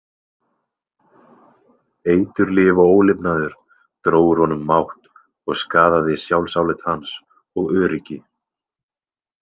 Eiturlyf og ólifnaður dró úr honum mátt og skaðaði sjálfsálit hans og öryggi.